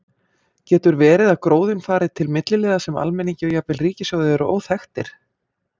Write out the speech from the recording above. Getur verið að gróðinn fari til milliliða sem almenningi og jafnvel ríkissjóði eru óþekktir?